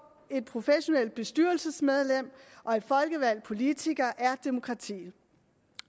et professionelt bestyrelsesmedlem og en folkevalgt politiker er demokratiet